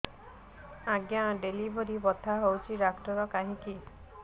ଆଜ୍ଞା ଡେଲିଭରି ବଥା ହଉଚି ଡାକ୍ତର କାହିଁ କି